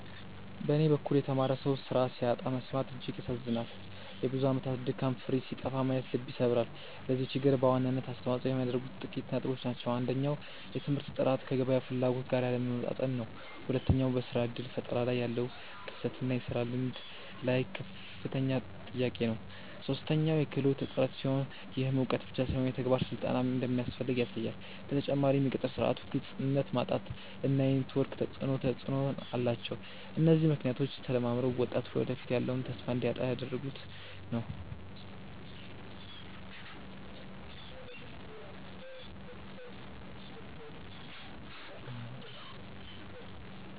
በኔ በኩል የተማረ ሰው ስራ ሲያጣ መሰማት እጅግ ያሳዝናል የብዙ አመታት ድካም ፍሬ ሲጠፋ ማየት ልብ ይሰብራል። ለዚህ ችግር በዋናነት አስተዋጽኦ የሚያደርጉት ጥቂት ነጥቦች ናቸው። አንደኛው የትምህርት ጥራት ከገበያው ፍላጎት ጋር ያለመጣጣም ነው። ሁለተኛው በስራ እድል ፈጠራ ላይ ያለው ክፍተት እና የስራ ልምድ ላይ ያለው ከፍተኛ ጥያቄ ነው። ሶስተኛው የክህሎት እጥረት ሲሆን፣ ይህም እውቀት ብቻ ሳይሆን የተግባር ስልጠናም እንደሚያስፈልግ ያሳያል። በተጨማሪም የቅጥር ስርዓቱ ግልጽነት ማጣት እና የኔትወርክ ተፅእኖ ተፅእኖ አላቸው። እነዚህ ምክንያቶች ተደማምረው ወጣቱ ለወደፊቱ ያለውን ተስፋ እንዲያጣ እያደረጉት ነው።